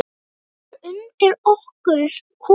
Það er undir okkur komið.